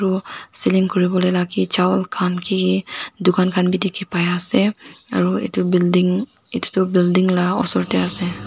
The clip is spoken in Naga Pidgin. selling kuriwo la ke chawal khan ki ki dukan khan b dikey pai ase aro etu building etu tu building la ka osor tey ase.